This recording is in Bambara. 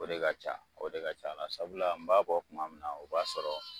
O de ka ca o de ka c'a la sabula n b'a bɔ kuma min na o b'a sɔrɔ